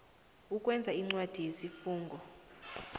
ukwenza incwadi yesifungo